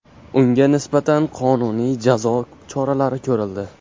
Unga nisbatan qonuniy jazo choralari ko‘rildi.